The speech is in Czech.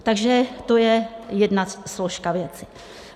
Takže to je jedna složka věci.